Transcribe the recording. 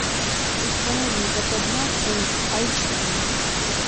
установи западня фулл айч ди